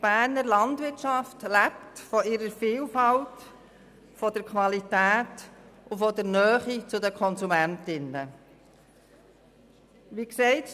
Die Berner Landwirtschaft lebt von ihrer Vielfalt, von der Qualität und von der Nähe zu den Konsumentinnen und Konsumenten.